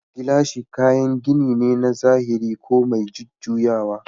Gilashi kayan gini ne na zahiri ko mai jujjuyawa